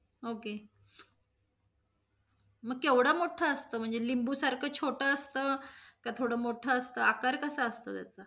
Ok मग केवढ मोठ असत, म्हणजे लिंबू सारखं छोटं असत, का थोड मोठ असत? आकार कसा असतो त्याचा?